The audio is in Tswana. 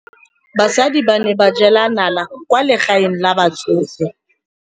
Basadi ba ne ba jela nala kwaa legaeng la batsofe.